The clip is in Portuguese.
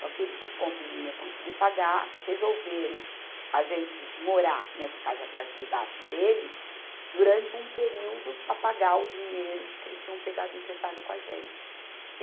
Só que eles não, como não iam conseguir pagar, resolveram a gente morar nessa casa, a parte de baixo deles, durante um período, para pagar o dinheiro que eles tinham pegado emprestado com a gente.